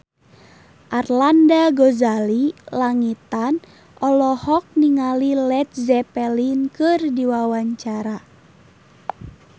Arlanda Ghazali Langitan olohok ningali Led Zeppelin keur diwawancara